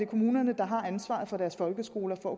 kommunerne der har ansvaret for deres folkeskoler og